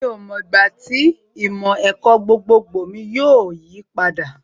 Mi ò mọ ìgbà tí ìmọ̀ ẹ̀kọ́ gbogbogbò mi yóò yí padà